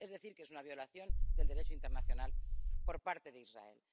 Es decir, que es una violación del Derecho internacional por parte de Israel.